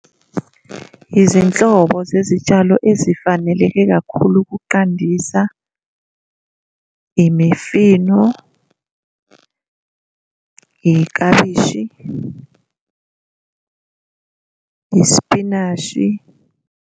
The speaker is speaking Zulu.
Izinhlobo zezitshalo ezifanele kakhulu ukuqandisa, imifino, iklabishi, ispinashi.